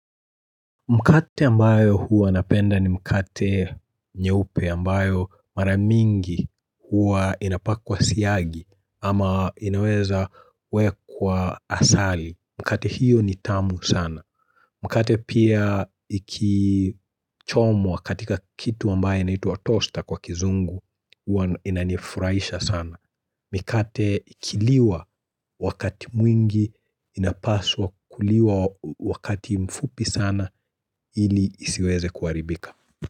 Mkate ambayo huwa napenda ni mkate nyeupe ambayo mara mingi huwa inapakwa siagi ama inaweza wekwa asali. Mkate hiyo ni tamu sana. Mkate pia ikichomwa katika kitu ambaye inaitwa toaster kwa kizungu huwa inanifuraisha sana. Mikate ikiliwa wakati mwingi inapaswa kuliwa wakati mfupi sana ili isiweze kuaribika.